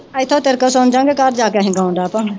ਇਥੋਂ ਤੇਰੇ ਕੋਲ ਸੁਣਜਾ ਗੇ ਘਰ ਜਾ ਕ ਅਸੀਂ ਗੋਨ ਲਗ ਪਾ ਗੇ